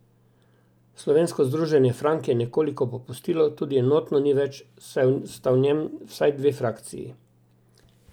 Slovensko Združenje Frank je nekoliko popustilo, tudi enotno ni več, saj sta v njem vsaj dve frakciji.